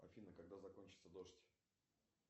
афина когда закончится дождь